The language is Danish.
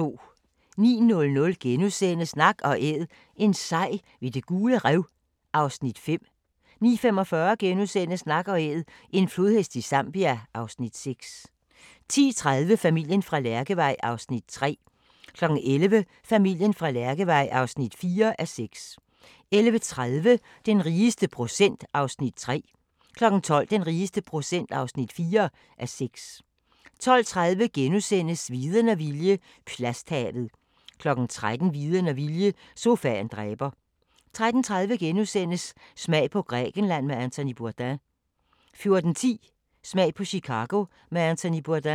09:00: Nak & Æd – en sej ved Det Gule Rev (Afs. 5)* 09:45: Nak & Æd – en flodhest i Zambia (Afs. 6)* 10:30: Familien fra Lærkevej (3:6) 11:00: Familien fra Lærkevej (4:6) 11:30: Den rigeste procent (3:6) 12:00: Den rigeste procent (4:6) 12:30: Viden og vilje – plasthavet * 13:00: Viden og vilje – sofaen dræber 13:30: Smag på Grækenland med Anthony Bourdain * 14:10: Smag på Chicago med Anthony Bourdain